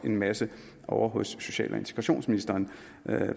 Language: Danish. en masse ovre hos social og integrationsministeren